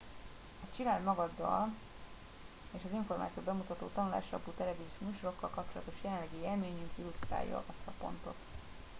a csináld magaddal és az információ bemutató tanulásalapú televíziós műsorokkal kapcsolatos jelenlegi élményünk illusztrálja ezt a pontot